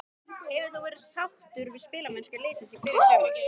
Hefur þú verið sáttur við spilamennskuna liðsins í byrjun sumars?